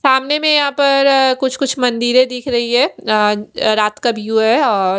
सामने में यहाँ पर कुछ कुछ मंदिरे दिख रही है अ अ रात का व्यू है और--